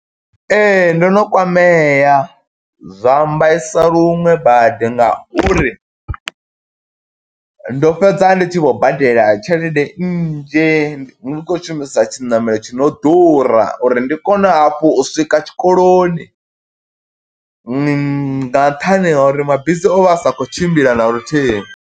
Ee, ndo no kwamea, zwa mbaisa luṅwe badi, nga uri ndo fhedza ndi tshi vho badela tshelede nnzhi ndi khou shumisa tshiṋamelo tshi no ḓura, uri ndi kone hafhu u swika tshikoloni. Nga nṱhani ha uri mabisi o vha a sa khou tshimbila na luthihi.